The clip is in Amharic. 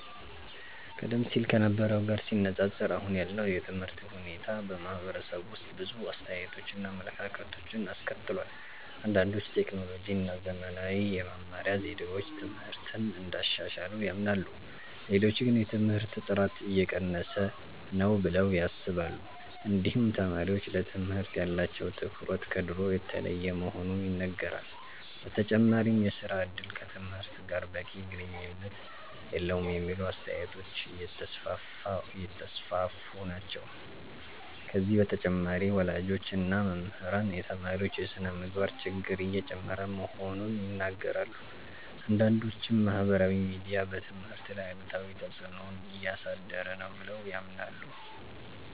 ቀደም ሲል ከነበረው ጋር ሲነፃፀር አሁን ያለው የትምህርት ሁኔታ በማህበረሰቡ ውስጥ ብዙ አስተያየቶችን እና አመለካከቶችን አስከትሏል። አንዳንዶች ቴክኖሎጂ እና ዘመናዊ የመማሪያ ዘዴዎች ትምህርትን እንዳሻሻሉ ያምናሉ። ሌሎች ግን የትምህርት ጥራት እየቀነሰ ነው ብለው ያስባሉ። እንዲሁም ተማሪዎች ለትምህርት ያላቸው ትኩረት ከድሮ የተለየ መሆኑ ይነገራል። በተጨማሪም የሥራ እድል ከትምህርት ጋር በቂ ግንኙነት የለውም የሚሉ አስተያየቶች እየተስፋፉ ናቸው። ከዚህ በተጨማሪ ወላጆች እና መምህራን የተማሪዎች የስነ-ምግባር ችግር እየጨመረ መሆኑን ይናገራሉ። አንዳንዶችም ማህበራዊ ሚዲያ በትምህርት ላይ አሉታዊ ተፅዕኖ እያሳደረ ነው ብለው ያምናሉ።